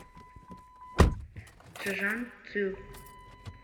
чжанцю